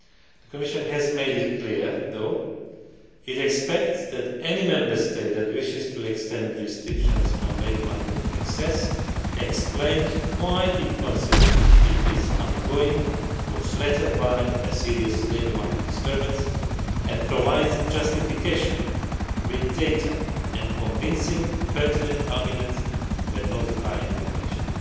The Commission has made it clear though, that it expects any Member State that wishes to extend restrictions on labour market access to explain why it considers it is undergoing or is threatened by a serious labour market disturbance and to provide justification with data and convincing, pertinent arguments when notifying the Commission.